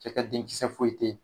Cɛ ka denkisɛ foyi tɛ yen